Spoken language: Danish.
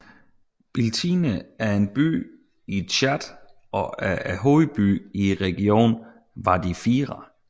Biltine er en by i Tchad og er hovedbyen i regionen Wadi Fira